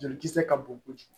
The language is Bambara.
Jolikisɛ ka bon kojugu